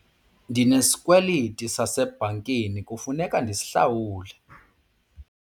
Ndinesikweliti sasebhankini kufuneka ndisihlawule.